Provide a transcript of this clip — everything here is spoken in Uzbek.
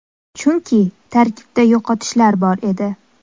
Chunki tarkibda yo‘qotishlar bor edi.